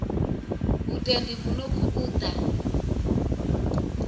vhuendi vhu no khou ḓa